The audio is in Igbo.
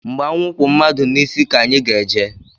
Mgbe anwụ kwụ madu n'isi ka anyị ga-eje